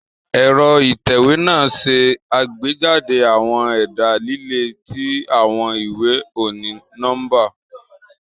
Ẹ̀rọ ìtẹ̀wé naa ṣe agbejade awọn ẹda lile ti awọn iwe oni-nọmba.